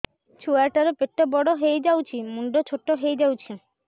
ଛୁଆ ଟା ର ପେଟ ବଡ ହେଇଯାଉଛି ମୁଣ୍ଡ ଛୋଟ ହେଇଯାଉଛି